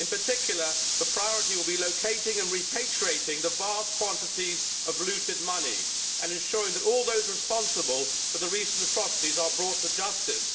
in particular the priority would be locating and repatriating the vast quantities of looted money and ensuring that all those responsible for the recent atrocities are brought to justice.